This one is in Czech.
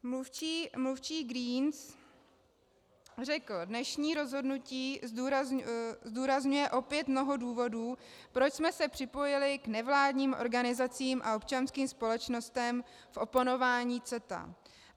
Mluvčí Greens řekl: Dnešní rozhodnutí zdůrazňuje opět mnoho důvodů, proč jsme se připojili k nevládním organizacím a občanským společnostem v oponování CETA.